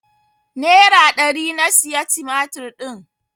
Nera ɗari na siya tumatir din.